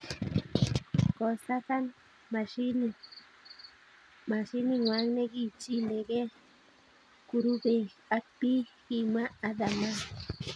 kosakan mashinit ng'wang ne kichikilen kurubeek ak biik, kimwa Athaman.